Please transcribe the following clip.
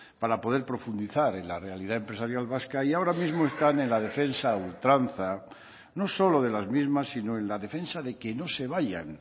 para poder profundizar en la realidad empresarial vasca y ahora mismo están en la defensa ultranza no solo de las mismas sino en la defensa de que no se vayan